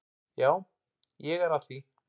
Já, ég er að því.